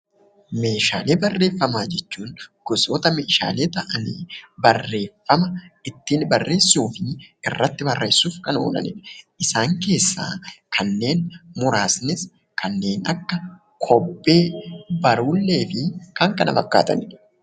Meeshaalee barreeffamaa jechuun gosoota meeshaalee ta'anii barreeffama ittiin barreessuu fi irratti barreessuuf kan oolanidha. Isaan keessaa kanneen muraasnis kanneen akka kobbee, barruullee fi kan kana fakkatanidha.